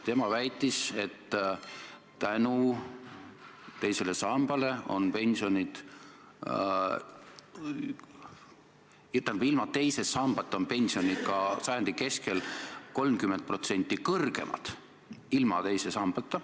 Ta väitis, et ilma teise sambata on pensionid sajandi keskel 30% kõrgemad.